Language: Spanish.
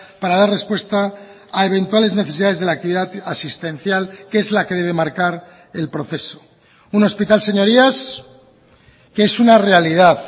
para dar respuesta a eventuales necesidades de la actividad asistencial que es la que debe marcar el proceso un hospital señorías que es una realidad